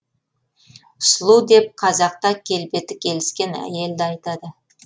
сұлу деп қазақта келбеті келіскен әйелді айтады